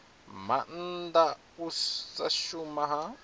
maanda u sa shuma ha